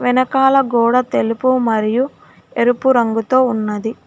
వెనకాల గోడ తెలుపు మరియు ఎరుపు రంగుతో ఉన్నది.